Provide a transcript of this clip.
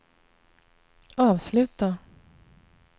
avsluta